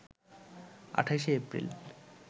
২৮ April